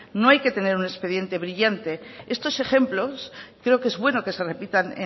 no hay que tener un expediente brillante estos ejemplos creo que es bueno que se repitan